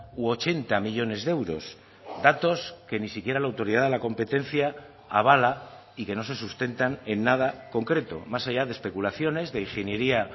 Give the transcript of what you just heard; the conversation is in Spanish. u ochenta millónes de euros datos que ni siquiera la autoridad de la competencia avala y que no se sustentan en nada concreto más allá de especulaciones de ingeniería